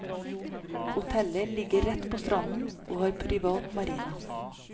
Hotellet ligger rett på stranden og har privat marina.